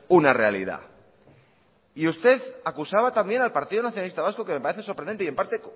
una realidad y usted acusaba también al partido nacionalista vasco que me parece sorprendente y en parte